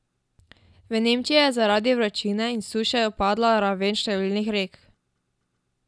V Nemčiji je zaradi vročine in suše upadla raven številnih rek.